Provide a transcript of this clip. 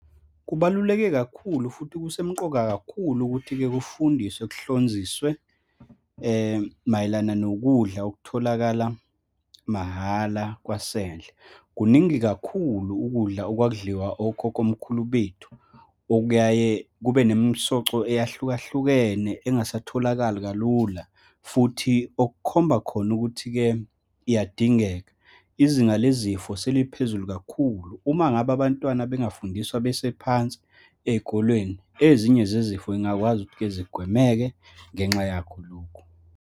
Kubaluleke kakhulu futhi kusemqoka kakhulu ukuthi-ke, kufundiswe, kuhlonziswe mayelana nokudla okutholakala mahhala kwasendle. Kuningi kakhulu ukudla okwakudliwa okhokhomkhulu bethu, okuyaye kube nomisoco eyahlukahlukene, engasatholakali kalula futhi okukhomba khona ukuthi-ke iyadingeka. Izinga lezifo seliphezulu kakhulu. Uma ngabe abantwana bengafundiswa bese phansi ey'kolweni, ezinye zezifo yingakwazi ukuthi-ke zigwemeke ngenxa yakho lokhu.